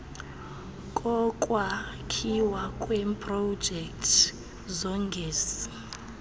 kokwakhiwa kweprojekthi zogesi